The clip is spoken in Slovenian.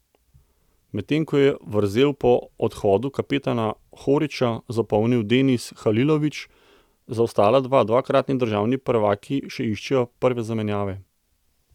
Medtem ko je vrzel po odhodu kapetana Horića zapolnil Denis Halilović, za ostala dva dvakratni državni prvaki še iščejo prave zamenjave.